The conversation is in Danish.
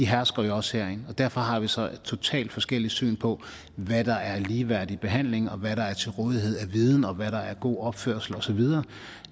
hersker jo også herinde og derfor har vi så et totalt forskelligt syn på hvad der er en ligeværdig behandling og hvad der er til rådighed af viden og hvad der er god opførsel og så videre